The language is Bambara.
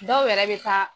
Dɔw yɛrɛ bɛ taa